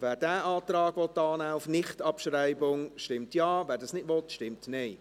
Wer diesen Antrag auf Nichtabschreibung annehmen will, stimmt Ja, wer dies nicht will, stimmt Nein.